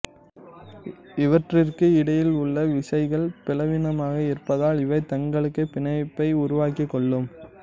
இவற்றிற்கு இடையில் உள்ள விசைகள் பெலவீனமாக இருப்பதால் இவை தங்களுக்குள் பிணைப்பை உருவாக்கிக் கொள்ளும்